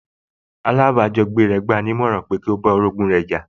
Alájọbágbé rẹ̀ gbà á ní ọ̀ràn pẹ́ kí ó bá orogún rẹ̀ jà